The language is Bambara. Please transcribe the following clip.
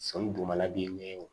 Sɔmi dugumala b'i ɲɛ wo